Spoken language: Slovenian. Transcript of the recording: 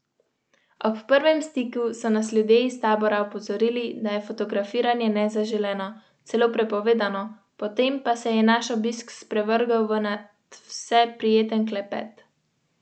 Tako se sama izobražujeta na spletu.